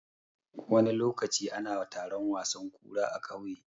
Wani lokaci ana taron wasan kura a ƙauye.